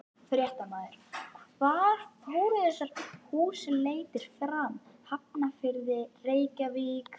Fréttamaður: Hvar fóru þessar húsleitir fram, Hafnarfirði, Reykjavík?